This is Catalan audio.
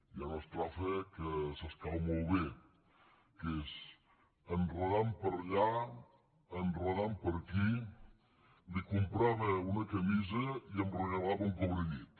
hi ha una estrofa que s’escau molt bé que és enredant per allà enredant per aquí li comprava una camisa i em regalava un cobrellit